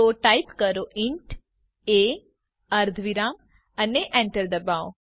તો ટાઇપ કરો int a અર્ધવિરામ અને Enter ડબાઓ